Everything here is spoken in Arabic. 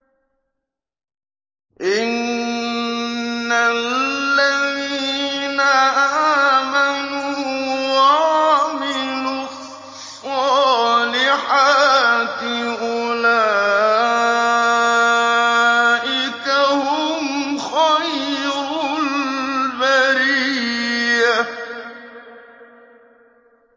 إِنَّ الَّذِينَ آمَنُوا وَعَمِلُوا الصَّالِحَاتِ أُولَٰئِكَ هُمْ خَيْرُ الْبَرِيَّةِ